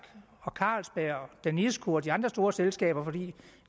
carlsberg danisco og de andre store selskaber fordi